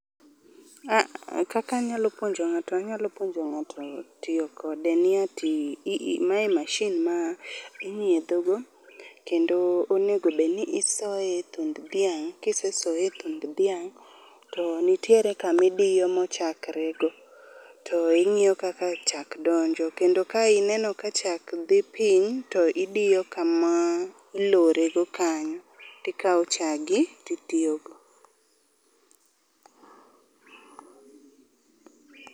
KaaAh, kakanyalo puonjo ng'ato anyalo puonjo ng'ato tiyo kode ni ati maye mashin ma inyiedhogo. Kendo onego obedni isoye e thund dhiang, kisesoye e kind dhiang', to nitiere kamidiyo mochakre go. To ing'iyo kaka chak donjo, kendo ka ineno ka chak dhi piny to idiyo kama ilorego kanyo tikawo chagi titiyogo.